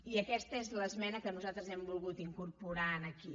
i aquesta és l’esmena que nosaltres hem volgut incorporar aquí